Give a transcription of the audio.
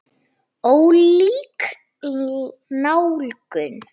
Ólík nálgun.